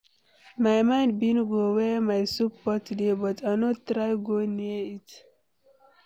My mind bin go where my soup pot dey but I no try go near it.